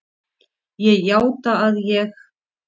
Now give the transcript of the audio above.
Ég játa að ég